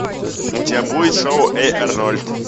у тебя будет шоу эй арнольд